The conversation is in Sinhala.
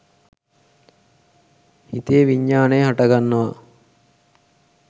හිතේ විඤ්ඤාණය හටගන්නවා.